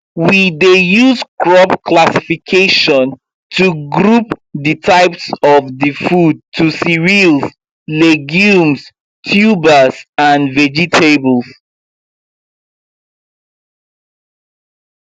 we dey use crop classification to group the types of the food to cereals legumes tubers and vegetables